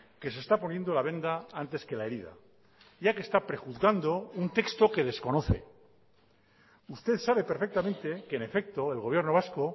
que se está poniendo la venda antes que la herida ya que está prejuzgando un texto que desconoce usted sabe perfectamente que en efecto el gobierno vasco